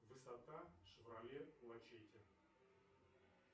высота шевроле лачетти